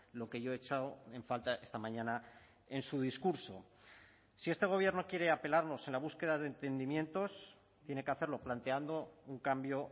lo que yo he echado en falta esta mañana en su discurso si este gobierno quiere apelarnos en la búsqueda de entendimientos tiene que hacerlo planteando un cambio